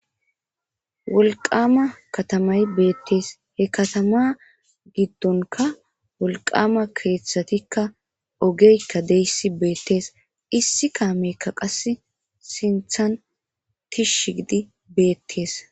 Wolqama katamay beetees he katama giddonka wolqama keethatikka ogeykka deyssi beetees issi kaameykka qassi sinthan tishshi giidi beetees.